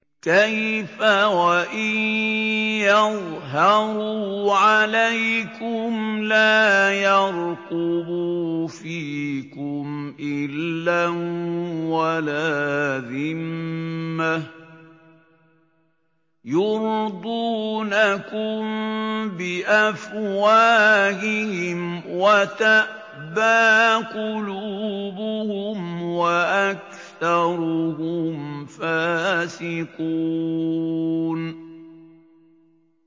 كَيْفَ وَإِن يَظْهَرُوا عَلَيْكُمْ لَا يَرْقُبُوا فِيكُمْ إِلًّا وَلَا ذِمَّةً ۚ يُرْضُونَكُم بِأَفْوَاهِهِمْ وَتَأْبَىٰ قُلُوبُهُمْ وَأَكْثَرُهُمْ فَاسِقُونَ